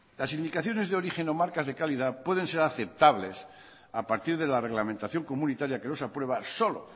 las indicaciones de origen o marcas de calidad pueden ser aceptables a partir de la reglamentación comunitaria que los aprueba solo